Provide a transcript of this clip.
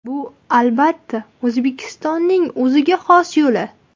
Bu, albatta, O‘zbekistonning o‘ziga xos yo‘li.